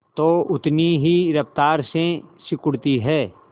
तो उतनी ही रफ्तार से सिकुड़ती है